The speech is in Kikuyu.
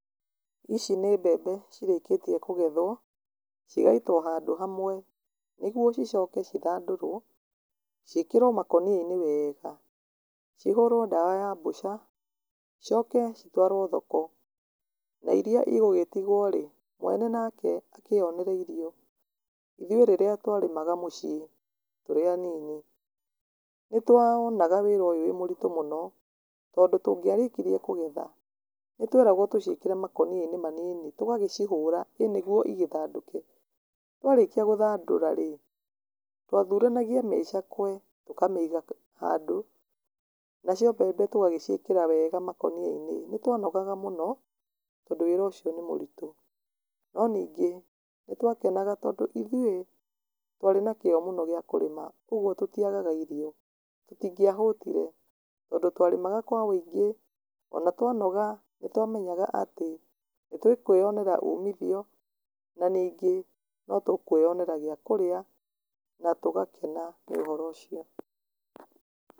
ici nĩ mbembe cirĩkĩtie kũgethwo, igaitwo handũ hamwe nĩguo icoke cithandũrwo, ciĩkĩrwo makũnia-inĩ wega, cihũrwo ndawa ya mbũca, icoke citwarwo thoko, na iria igũgĩtigwo rĩ, mwene nake akĩyonere irio, ithuĩ rĩrĩa twarĩmaga mũciĩ tũrĩ anini, nĩ tuonaga wĩra ũyũ wĩmũritũ mũno, tondũ tũngĩarĩkirie kũgetha, nĩ tweragwo tũciĩkĩre makũnia-inĩ manini, tũgagĩcihũra ĩnĩguo igĩthandũke, twarĩkia gũthandũra rĩ, twathuranagia mĩcakwe tũkamĩiga handũ, nacio mbembe tũgagĩciĩkĩra wega makũnia-inĩ, nĩ twanogaga mũno tondũ wĩra ũcio nĩ mũritũ, no ningĩ nĩ twakenaga tondũ ithuĩ, twarĩ na kĩyo mũno gĩa kũrĩma kwoguo tũtiagaga irio, tũtingiahũtire tondũ twarĩmaga kwa wĩingĩ, ona twanoga, nĩ twamenyaga atĩ, nĩ tũkwĩyonera umithio, na ningĩ notũkwĩyonera gĩa kũrĩa, na tũgakena nĩ ũhoro ũcio.